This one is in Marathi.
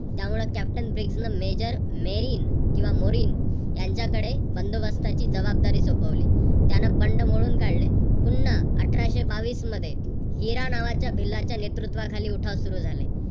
त्यामुळे कॅप्टन ब्रिग्ज न रेजन मेरीन किंवा मोविन यांच्याकडे बंदोबस्ताची जबाबदारी सोपवली. त्यान बंड मोडून काढले. पुन्हा अठराशे बावीस मध्ये हिरा नावाच्या भिल्लाच्या नेतृत्वाखाली उठाव सुरु झाले.